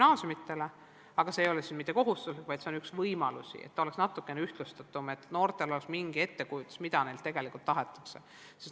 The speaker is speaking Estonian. Aga selline test ei ole koolidele kohustuslik, vaid see on üks võimalus tagada, et test oleks natukene ühtlustatum ja et noortel oleks mingi ettekujutus, mida neilt tegelikult tahetakse.